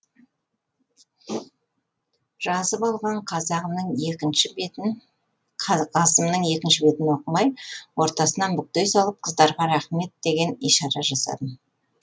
жазып алған қазағымның екінші бетін қағазымның екінші бетін оқымай ортасынан бүктей салып қыздарға рақмет деген ишара жасадым